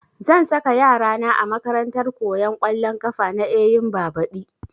Zan saka yara na a makarantar koyan ƙwallon ƙafa na Eyimba badi